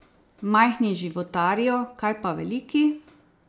Majhni životarijo, kaj pa veliki?